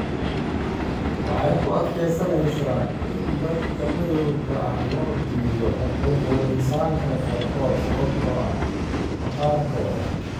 Waxay ku adkaysanaysaa in dadka madowga ah loo diido xuquuqul insaanka qaarkood sababtoo ah maqaarkooda.